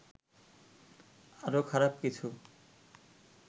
আরো খারাপ কিছু